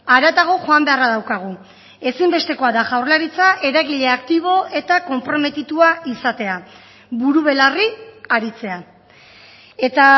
haratago joan beharra daukagu ezinbestekoa da jaurlaritza eragile aktibo eta konprometitua izatea buru belarri aritzea eta